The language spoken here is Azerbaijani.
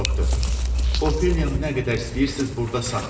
Doktor, Ofeliyanı nə qədər istəyirsiz burda saxlayın.